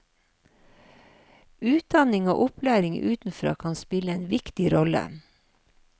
Utdanning og opplæring utenfra kan spille en viktig rolle.